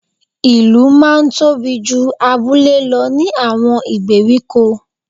Ìlú máa n tóbi ju abúlé lo ní àwon ìgbèríko